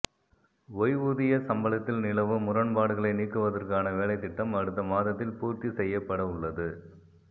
ஓய்வூதிய சம்பளத்தில் நிலவும் முரண்பாடுகளை நீக்குவதற்கான வேலைத் திட்டம் அடுத்த மாதத்தில் பூர்த்தி செய்யப்படவுள்ளது